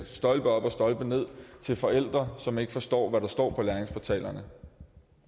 stolpe op og stolpe ned til forældre som ikke forstår hvad der står på læringsportalerne